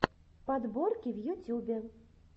подборки в ютюбе